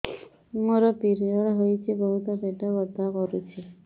ମୋର ପିରିଅଡ଼ ହୋଇଛି ବହୁତ ପେଟ ବଥା କରୁଛି